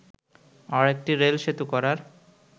আরেকটি রেলসেতু করার